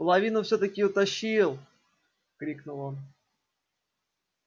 половину всё таки утащил крикнул он